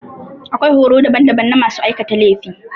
Akwai horo daban daban na masu aikata laifi.